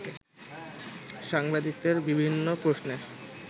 সাংবাদিকদের বিভিন্ন প্রশ্নের